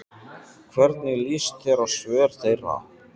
Hvernig lýst þér á svör þeirra?